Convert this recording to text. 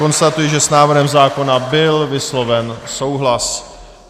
Konstatuji, že s návrhem zákona byl vysloven souhlas.